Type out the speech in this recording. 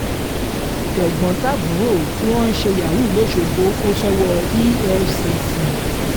tẹ̀gbọ́n-tàbúrò tí wọ́n ń ṣe yahoo lọ́sọ̀gbò kò sówó efcc